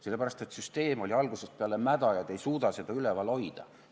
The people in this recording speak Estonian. Sellepärast, et süsteem oli algusest peale mäda ja te ei suuda seda üleval hoida.